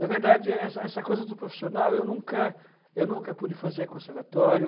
Na verdade, essa essa coisa do profissional, eu nunca eu nunca pude fazer conservatório.